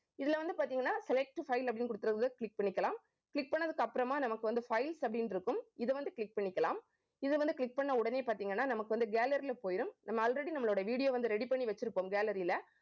இதுல வந்து பார்த்தீங்கன்னா select file அப்படின்னு கொடுத்து இருக்கிறதை click பண்ணிக்கலாம். click பண்ணதுக்கு அப்புறமா நமக்கு வந்து files அப்படின்ட்டு இருக்கும். இதை வந்து click பண்ணிக்கலாம் இது வந்து click பண்ண உடனே பார்த்தீங்கன்னா நமக்கு வந்து, gallery ல போயிடும். நம்ம already நம்மளோட video வந்து ready பண்ணி வச்சிருப்போம் gallery ல